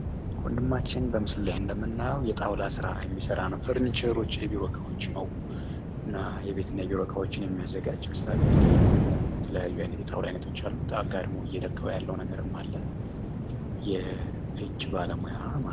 ወንድማችን በምስሉ ላይ እንደምናየው የጣውላ ስራ የሚሰራ ነው። ፈርኒቸሮች የቤት እና የቢሮ እቃዎች ነው የሚያዘጋጅ ይመስላል። የቆሙ የተለያዩ ጣውላዎች አሉት አጋድሞ እየለካው ያለውም አለ። የ እጅ ባለሙያ ማለት ነው።